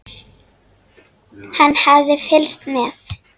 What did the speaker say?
Hann hafði fylgst með